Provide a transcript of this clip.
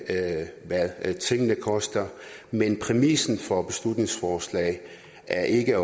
af hvad tingene koster men præmissen for beslutningsforslaget er ikke